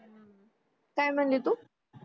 काय म्हणली तू